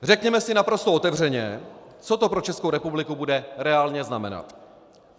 Řekněme si naprosto otevřeně, co to pro Českou republiku bude reálně znamenat.